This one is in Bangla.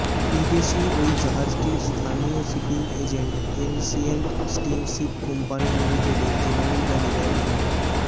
বিদেশি ওই জাহাজটির স্থানীয় shipping agent ancient steamship company লিমিটেডের জেনারেল ম্যানেজার মো